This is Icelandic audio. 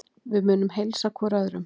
Við munum heilsa hvor öðrum.